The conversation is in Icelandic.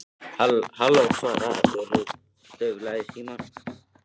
Halló- svaraði Urður dauflega í símann.